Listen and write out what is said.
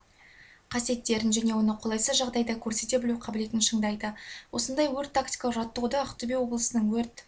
қасиеттерін және оны қолайсыз жағдайда көрсете білу қабілетін шыңдайды осындай өрт-тактикалық жаттығуды ақтөбе облысының өрт